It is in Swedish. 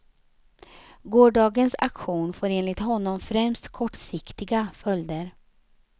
Gårdagens aktion får enligt honom främst kortsiktiga följder.